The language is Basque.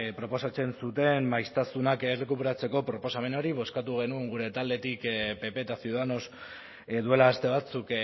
proposatzen zuten maiztasunak errekuperatzeko proposamen hori bozkatu genuen gure taldetik pp eta ciudadanos duela aste batzuk